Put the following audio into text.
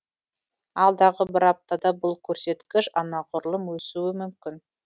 алдағы бір аптада бұл көрсеткіш анағұрлым өсуі мүмкін